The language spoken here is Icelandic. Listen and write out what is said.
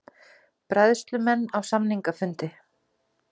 Bræðslumenn á samningafundi